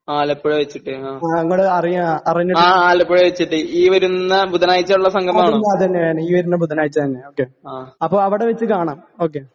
ആലപ്പുഴ വെച്ചിട്ട് ആ ആ ആലപ്പുഴ വെച്ചിട്ട് ഈ വരുന്ന ബുധനാഴ്ചയുള്ള സംഗമം ആണോ? ആ